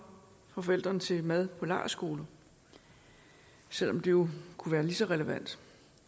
fra forældrene til mad på lejrskoler selv om det jo kunne være lige så relevant